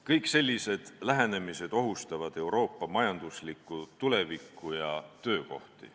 Kõik sellised lähenemised ohustavad Euroopa majanduslikku tulevikku ja töökohti.